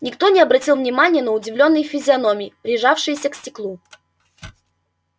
никто не обратил внимания на удивлённые физиономии прижавшиеся к стеклу